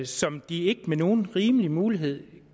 som de ikke med nogen rimelighed har mulighed